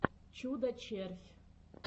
чудо червь